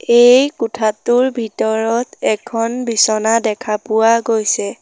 এই কোঠাটোৰ ভিতৰত এখন বিচনা দেখা পোৱা গৈছে।